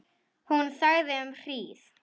Hún þagði um hríð.